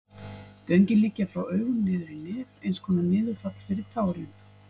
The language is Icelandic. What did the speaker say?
Göngin liggja frá augum niður í nef, eins konar niðurfall fyrir tárin.